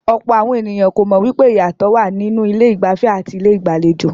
Ọ̀pọ̀ àwọn ènìyàn kò mọ̀ wípé ìyàtọ̀ wà nínú ilé ìgbafẹ́ àti ilé ìgbàlejò.